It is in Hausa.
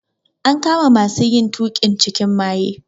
An kama masu yin tuƙin cikin maye.